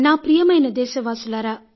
నా ప్రియమైన దేశవాసులారా